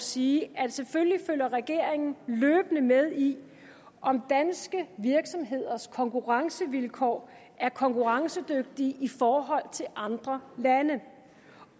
sige at selvfølgelig følger regeringen løbende med i om danske virksomheders konkurrencevilkår er konkurrencedygtige i forhold til andre landes